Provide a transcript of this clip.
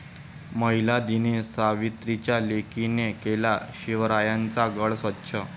महिला दिनी सावित्रीच्या लेकींनी केला शिवरायांचा गड स्वच्छ